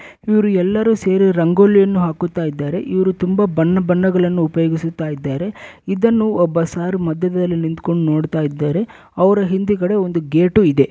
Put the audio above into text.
ಇವ್ರು ಎಲ್ಲರೂ ಸೇರಿ ರಂಗೋಲಿಯನ್ನು ಹಾಕುತ್ತಾ ಇದ್ದಾರೆ ಇವ್ರು ತುಂಬ ಬಣ್ಣ ಬಣ್ಣಗಳನ್ನು ಉಪಯೋಗಿಸುತ್ತ ಇದ್ದಾರೆ ಇದನ್ನು ಒಬ್ಬ ಸಾರ್ ಮಧ್ಯದಲ್ಲಿ ನಿಂತುಕೊಂಡು ನೋಡ್ತಾ ಇದ್ದಾರೆ ಅವರ ಹಿಂದಗಡೆ ಒಂದು ಗೇಟು ಇದೆ.